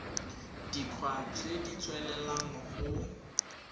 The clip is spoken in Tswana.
dikgwa tse di tswelelang go